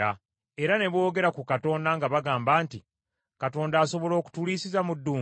Era ne boogera ku Katonda; nga bagamba nti, “Katonda asobola okutuliisiza mu ddungu?